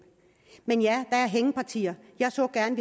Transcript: men ja der er hængepartier jeg så gerne